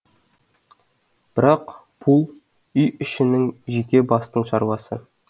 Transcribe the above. бірақ пул үй ішінің жеке бастың шаруасы